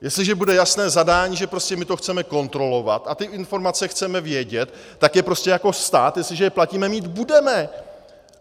Jestliže bude jasné zadání, že prostě my to chceme kontrolovat a ty informace chceme vědět, tak je prostě jako stát, jestliže je platíme, mít budeme.